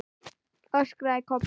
öskraði Kobbi.